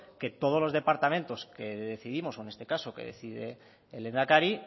que todos los departamentos que decidimos o en este caso que decide el lehendakari